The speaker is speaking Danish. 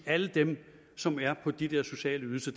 alle dem som er på de der sociale ydelser